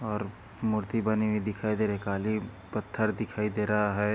और मूर्ति बनी हुई दिखाई दे रही काली पत्थर दिखाई दे रहा हैं।